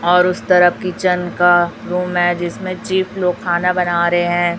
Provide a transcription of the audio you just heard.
और उस तरफ किचन का रूम है जिसमें चीप लोग खाना बना रहे हैं।